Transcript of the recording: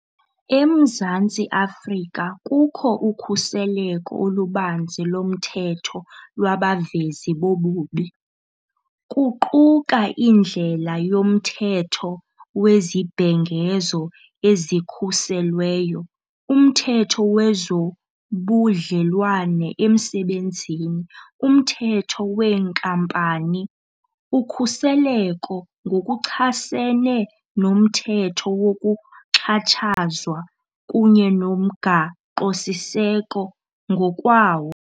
EMzantsi Afrika kukho ukhuseleko olubanzi lomthetho lwabavezi bobubi, kuquka indlela yoMthetho weZibhengezo eziKhuselweyo, uMthetho wezoBudlelwane eMsebenzini, uMthetho weeNkampani, uKhuseleko ngokuchasene noMthetho wokuXhatshazwa, kunye noMgaqosiseko ngokwawo.